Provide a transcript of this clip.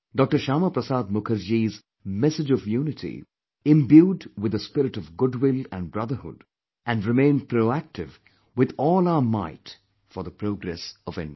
Shyama Prasad Mukherjee's message of unity imbued with the spirit of goodwill and brotherhood and remain proactive with all our might for the progress of India